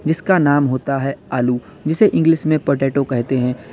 जिसका नाम होता है आलू जिसे इंग्लिश में पोटैटो कहते हैं।